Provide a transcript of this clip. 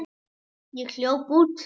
Ég hljóp út.